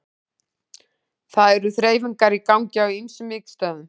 Það eru þreifingar í gangi á ýmsum vígstöðvum.